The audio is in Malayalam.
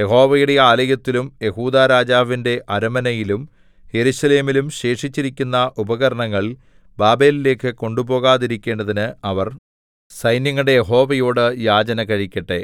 യഹോവയുടെ ആലയത്തിലും യെഹൂദാരാജാവിന്റെ അരമനയിലും യെരൂശലേമിലും ശേഷിച്ചിരിക്കുന്ന ഉപകരണങ്ങൾ ബാബേലിലേക്കു കൊണ്ടുപോകാതിരിക്കേണ്ടതിന് അവർ സൈന്യങ്ങളുടെ യഹോവയോടു യാചന കഴിക്കട്ടെ